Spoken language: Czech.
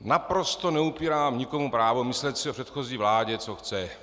Naprosto neupírám nikomu právo myslet si o předchozí vládě, co chce.